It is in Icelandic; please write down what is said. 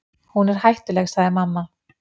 Hún er hættuleg, sagði mamma.